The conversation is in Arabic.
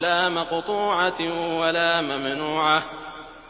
لَّا مَقْطُوعَةٍ وَلَا مَمْنُوعَةٍ